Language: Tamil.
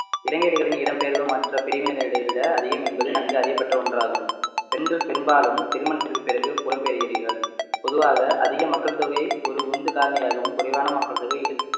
இளைஞர்களின் இடம்பெயர்வு மற்ற பிரிவினரரை விட அதிகம் என்பது நன்கு அறியப்பட்ட ஒன்றாகும் பெண்கள் பெரும்பாலும் திருமணத்திற்கு பிறகு புலம்பெயர்கிறீர்கள் பொதுவாக அதிக மக்கள் தொகை ஒரு உந்து காரணியாகவும் குறைவான மக்கள் தொகை இழு~